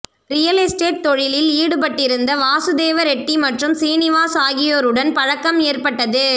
real estate தொழிலில் ஈடுபட்டிருந்த வாசுதேவ ரெட்டி மற்றும் சீனிவாஸ் ஆகியோருடன் பழக்கம் ஏற்பட்டது